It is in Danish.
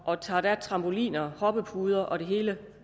og tager trampoliner og hoppepuder og det hele